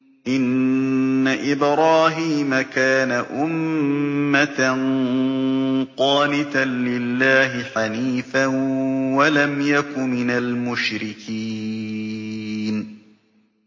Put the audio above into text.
إِنَّ إِبْرَاهِيمَ كَانَ أُمَّةً قَانِتًا لِّلَّهِ حَنِيفًا وَلَمْ يَكُ مِنَ الْمُشْرِكِينَ